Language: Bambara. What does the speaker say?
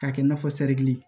K'a kɛ i n'a fɔ sɛriki